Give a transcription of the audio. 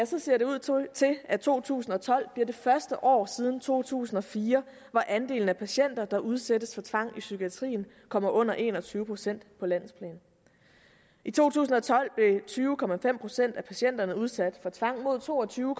ser det ud til at to tusind og tolv bliver det første år siden to tusind og fire hvor andelen af patienter der udsættes for tvang i psykiatrien kommer under en og tyve procent på landsplan i to tusind og tolv blev tyve procent af patienterne udsat for tvang mod to og tyve